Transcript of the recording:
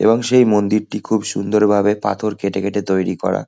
এবং সেই মন্দিরটি খুব সুন্দরভাবে পাথর কেটে কেটে তৈরি করা।